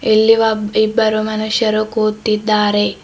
ಇಲ್ಲಿ ಒಬ್ ಇಬ್ಬರು ಮನುಷ್ಯರು ಕೂತಿದ್ದಾರೆ.